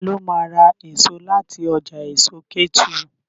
Ta ló ma ra èso láti ọjà èso Kétu?